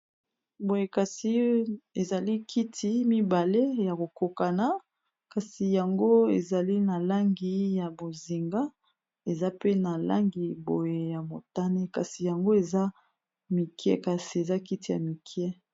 boye kasi e ezali kiti mibale ya kokokana kasi yango ezali na langi ya bozinga eza pe na langi boye ya motane kasi yango eza mike kasi eza kiti ya mike